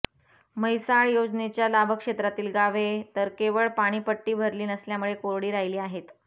म्हैसाळ योजनेच्या लाभक्षेत्रातील गावे तर केवळ पाणीपट्टी भरली नसल्याने कोरडी राहिली आहेत